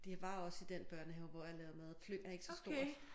De var også i den børnehave hvor jeg lavede mad Fløng er ikke så stort